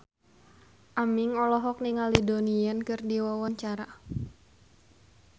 Aming olohok ningali Donnie Yan keur diwawancara